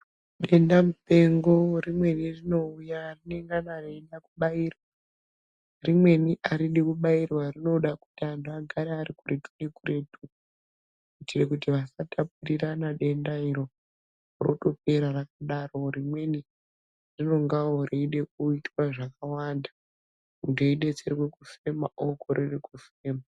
Denda mupengo rimweni rinouya rinengana reida kubairwa rimweni aridi kubairwa rinoda kuti antu agare arikuretu nekuretu kuitira kuti asatapurirana denda iro rotopera rakadaro rimweni rinongawo reide kuitwa zvakawanda muntu eidetserwe kufema okorere kufema.